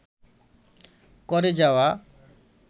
করে যাওয়া